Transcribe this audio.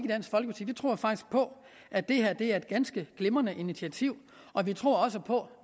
tror faktisk på at det her er et ganske glimrende initiativ og vi tror også på